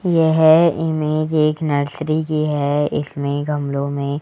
यह इमेज एक नर्सरी की है इसमें गमलों में--